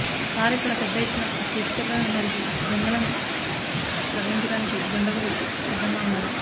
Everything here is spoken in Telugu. సార్ ఇక్కడ పెద్ద ఎత్తున టేకు చెట్లను నరికి దుంగలను తరలించడానికి దుండగులు సిద్ధంగా ఉన్నారు